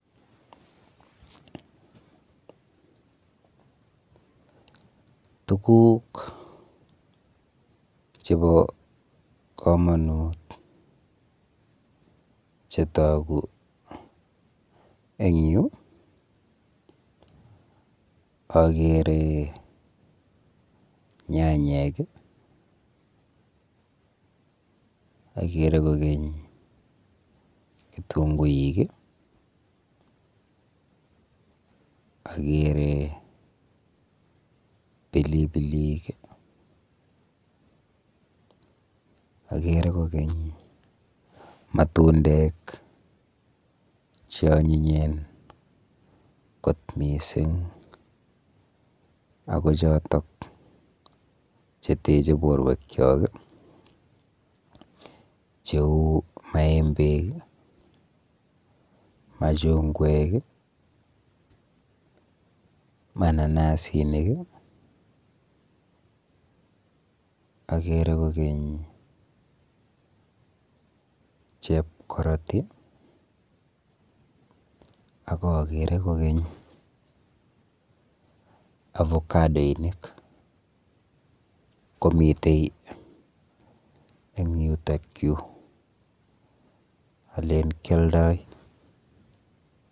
Tuguk chepo komonut chetogu eng yu, akere nyanyek, akere kokeny kitubguik, akere pilipilik, akere kokeny matundek cheonyinyen kot mising ako chotok cheteche borwekchok cheu maembek, machungwek, mananasinik, akere kokeny chepkoroti akakere kokeny avocadoinik komite eng yutokyu, alen kialdoi.